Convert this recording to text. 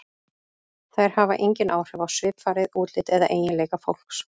Þær hafa engin áhrif á svipfarið, útlit eða eiginleika fólks.